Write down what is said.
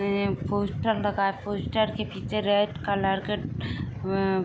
poster लगाए post के पीछे रेड कलर का ए --